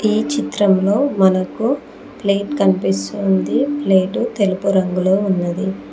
ఈ చిత్రంలో మనకు ప్లేట్ కనిపిస్తూంది ప్లేటు తెలుపు రంగులో ఉన్నది.